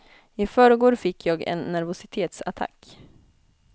I förrgår fick jag en nervositetsattack.